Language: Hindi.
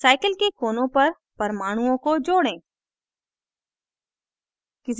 cycle के कोनों पर परमाणुओं को जोड़ें